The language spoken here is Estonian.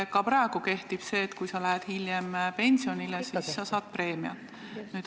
Ka praegu on nii, et kui sa lähed hiljem pensionile, siis saad nagu preemiat.